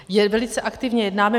Velice aktivně jednáme.